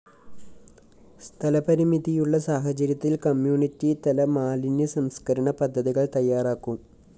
സ്ഥലപരിമിതിയുള്ള സാഹചര്യത്തില്‍ കമ്മ്യൂണിറ്റി തല മാലിന്യ സംസ്‌കരണ പദ്ധതികള്‍ തയാറാക്കും